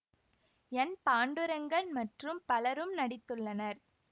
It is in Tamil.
என் பாண்டுரெங்கன் மற்றும் பலரும் நடித்துள்ளனர்